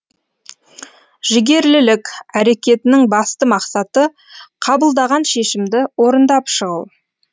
жігерлілік әрекетінің басты мақсаты қабылдаған шешімді орындап шығу